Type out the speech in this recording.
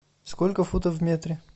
сколько футов в метре